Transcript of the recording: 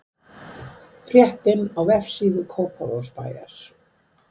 Fréttin á vefsíðu Kópavogsbæjar